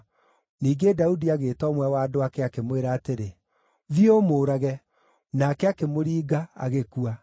Ningĩ Daudi agĩĩta ũmwe wa andũ ake, akĩmwĩra atĩrĩ, “Thiĩ, ũmũũrage!” Nake akĩmũringa, agĩkua.